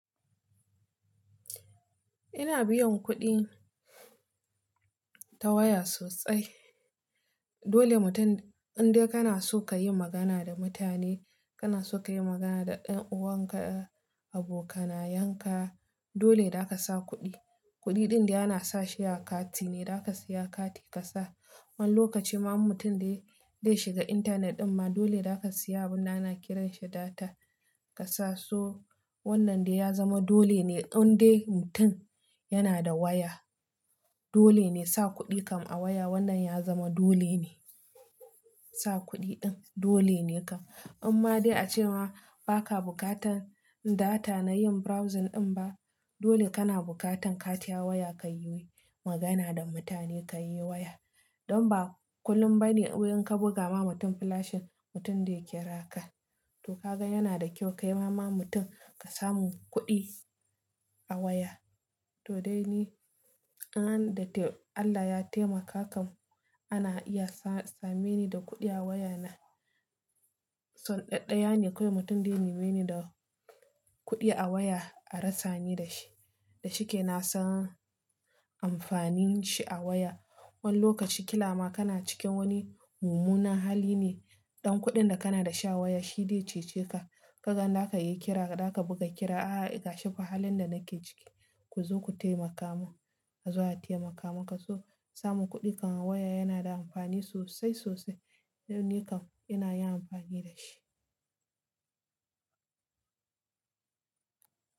Ina biyan kuɗi ta waya sosai. Dole mutum in dai kana so ka yi magana da mutane, kana so ka yi magana da ɗan uwanka, abokanayenka, dole za ka sa kuɗi. Kuɗi ɗin de ana sashi a kati ne, za ka siya kati ka sa. Wani lokacin ma mutum da ya shiga intanet ɗin ma dole za ka siya abin da ana kiranshi data ka sa. To wannan dai ya zama dole ne in dai mutum yana da waya. Dole ne sa kuɗi kan a waya wannan ya zama dole ne. Sa kuɗi ɗin dole ne kan. Amma dai a cewa ba ka bukatan data na yin browsing ɗin ba, dole kana bukatan kati a waya ka yi magana da mutane ka yi waya. Don ba kullum ba ne in ka buga ma mutum flash mutum zai kiraka. To ka gan yana da kyau ka yi ma ma mutum ka samu kuɗi a waya. To dai ni, Allah ya taimaka kan ana iya sameni da kuɗi a wayana. So ɗaɗɗaya ne kawai mutum dai ya nime ni da kuɗi a waya a rasa ni da shi. Da shike na san amfanin shi a waya. Wani lokaci kila ma kana cikin wani mummunan hali ne, ɗan kuɗin da kana da shi a waya shi dai cece ka. Ka gan za ka iya kira ka, za ka buga kira "a a gashi fa halin da nake ciki, ku zo ku taimaka mun." a zo a taimaka maka. So samun kuɗi kan waya yana da amfani sosai sosai. Ni kam ina yin amfani da shi.